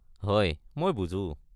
হয়, মই বুজো।